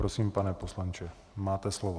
Prosím, pane poslanče, máte slovo.